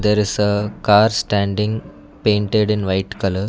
there is a car standing painted in white colour.